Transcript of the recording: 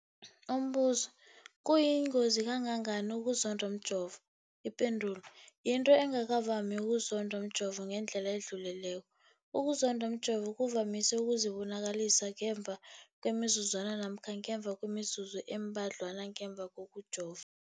Umbuzo, kuyingozi kangangani ukuzondwa mjovo? Ipendulo, yinto engakavami ukuzondwa mjovo ngendlela edluleleko. Ukuzondwa mjovo kuvamise ukuzibonakalisa ngemva kwemizuzwana namkha ngemva kwemizuzu embadlwana ngemva kokujova.